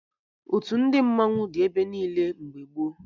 Otu ndị mmanwụ dị ebe niile mgbe gboo